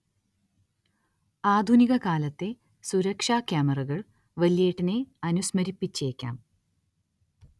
ആധുനികകാലത്തെ സുരക്ഷാക്യാമറകൾ വല്യേട്ടനെ അനുസ്മരിപ്പിച്ചേക്കാം.